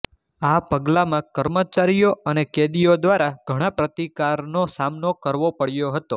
આ પગલામાં કર્મચારીઓ અને કેદીઓ દ્વારા ઘણા પ્રતિકારનો સામનો કરવો પડ્યો હતો